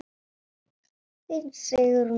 Þín Sigrún Fanney.